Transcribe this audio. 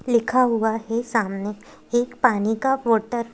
लिखा हुआ है सामने एक पानी का वाटर ।